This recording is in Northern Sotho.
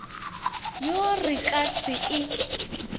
yo re ka se e